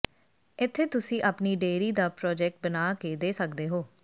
ਇੱਥੇ ਤੁਸੀਂ ਆਪਣੀ ਡੇਅਰੀ ਦਾ ਪ੍ਰੋਜੈਕਟ ਬਣਾ ਕੇ ਦੇ ਸਕਦੇ ਹੋ